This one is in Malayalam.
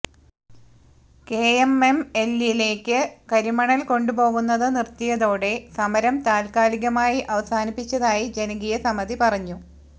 കെഎംഎംഎല്ലിലേക്ക് കരിമണൽ കൊണ്ടുപോകുന്നത് നിർത്തിയതോടെ സമരം താൽക്കാലികമായി അവസാനിപ്പിച്ചതായി ജനകീയസമിതി പറഞ്ഞു